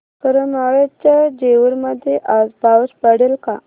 करमाळ्याच्या जेऊर मध्ये आज पाऊस पडेल का